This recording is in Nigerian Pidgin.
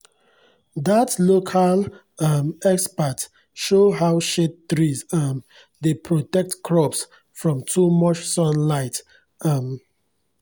dat local um expert show how shade trees um dey protect crops from too much sunlight um